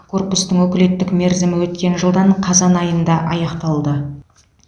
корпустың өкілеттік мерзімі өткен жылдың қазан айында аяқталды